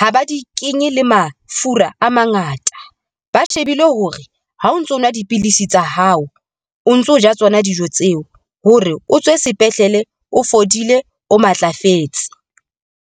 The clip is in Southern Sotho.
ha ba di kenye le mafura a mangata, ba shebile hore ha o ntso nwa dipilisi tsa hao, o ntso ja tsona dijo tseo hore o tswe sepetlele, o fodile, o matlafetse.